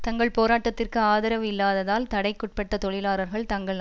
தஙகள் போராட்டத்திற்கு ஆதரவு இல்லாததால் தடைக்குட்பட்ட தொழிலாளர்கள் தங்கள்